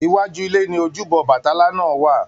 Iwájú ilé ni ojúbọ Obatala náà wà.